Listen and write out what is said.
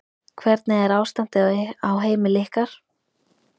Hvernig er ástandið á heimili ykkar?